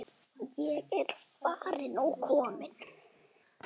Ég er farin og komin.